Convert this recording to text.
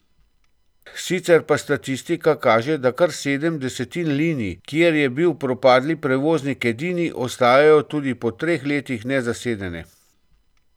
Sicer pa statistika kaže, da kar sedem desetin linij, kjer je bil propadli prevoznik edini, ostajajo tudi po treh letih nezasedene.